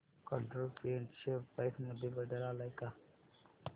control print share price मध्ये बदल आलाय का